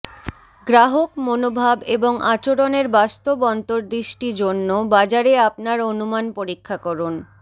গ্রাহক মনোভাব এবং আচরণের বাস্তব অন্তর্দৃষ্টি জন্য বাজারে আপনার অনুমান পরীক্ষা করুন